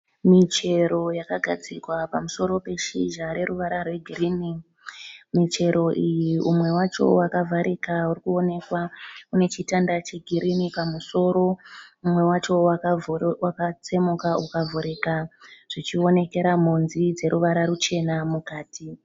Mishero yakagadzikwa pamusoro peshizha reruvara rwegirini. Umwe wacho wakavarika urikuwonekwa uneshitanda chegirini pamusoro, umwe wacho wakatsemuka ukavurika zvichiwonekera monzi dzeruvara ruchena mukati.